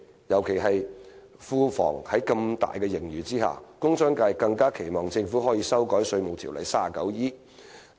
尤其是在庫房有龐大盈餘的情況下，工商界更期望政府能修改《稅務條例》第 39E 條。